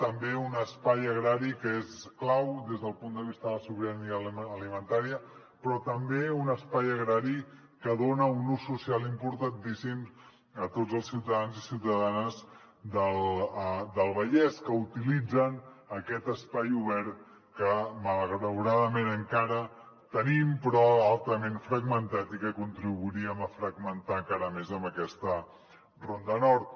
també un espai agrari que és clau des del punt de vista de la sobirania alimentària però també un espai agrari que dona un ús social importantíssim a tots els ciutadans i ciutadanes del vallès que utilitzen aquest espai obert que malauradament encara tenim però altament fragmentat i que contribuiríem a fragmentar encara més amb aquesta ronda nord